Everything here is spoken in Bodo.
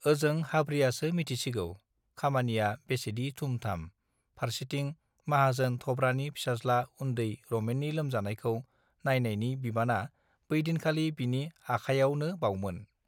ओजों हाब्रियासो मिथिसिगौ खामनिया बेसेदि थुम थाम फारसेथिं माहाजोन थब्रानि फिसाज् ला उन् दै रमेननि लोमजानायखौ नायनायनि बिबाना बैदिनखालि बिनि आखाइयावनोबावमोन